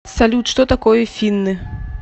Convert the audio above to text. салют что такое финны